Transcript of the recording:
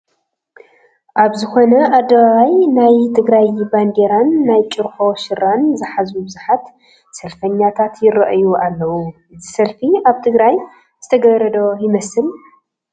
ኣብ ዝኾነ ኣደባባይ ናይ ትግራይ ባንዴራን ናይ ጩርሖ ሸራን ዝሓዙ ብዙሓት ሰልፈኛታት ይርአዩ ኣለዉ፡፡ እዚ ሰልፊ ኣብ ትግራይ ዝተገብረ ዶ ይመስል?